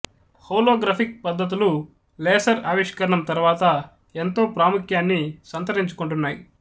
holographic పద్ధతులు laser ఆవిష్కరణం తరువాత ఎంతో ప్రముఖ్యాన్ని స్ంతరించుకొంటున్నాయి